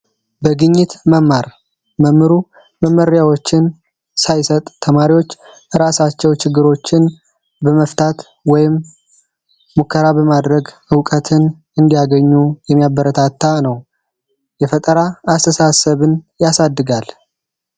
በግኝት መማር መምህሩ ግኝቶችን ሳይሰጥ ተማሪዎች ራሳቸው ችግርን መፍታት ወይም ሙከራ በማድረግ እውቀት እንዲያገኙ የሚያበረታታ ነው። የፈጠራ አስተሳሰብን ያሳድጋል።